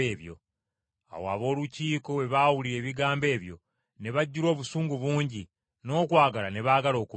Awo ab’Olukiiko bwe baawulira ebigambo ebyo ne bajjula obusungu bungi n’okwagala ne baagala okubatta.